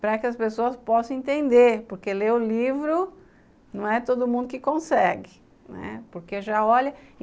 para que as pessoas possam entender, porque ler o livro não é todo mundo que consegue.